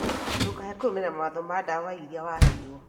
Ndũkage kũrũmĩrĩra mawatho ma ndawa irĩa waheirwo